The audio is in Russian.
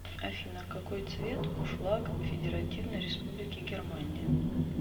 афина какой цвет у флаг федеративной республики германия